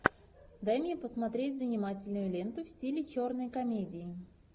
дай мне посмотреть занимательную ленту в стиле черной комедии